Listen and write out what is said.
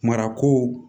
Marako